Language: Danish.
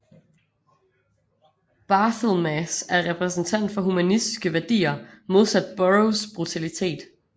Barthelmess er repræsentant for humanistiske værdier modsat Burrows brutalitet